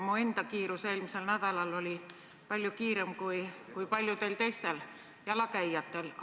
Minu enda kiirus eelmisel nädalal oli palju kiirem kui paljudel teistel jalakäijatel.